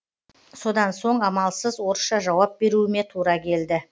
содан соң амалсыз орысша жауап беруіме тура келді